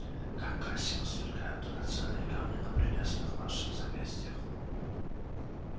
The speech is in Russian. как красиво сверкают драгоценные камни на прелестных ваших запястьях